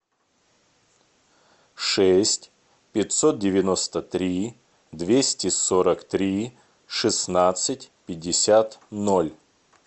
шесть пятьсот девяносто три двести сорок три шестнадцать пятьдесят ноль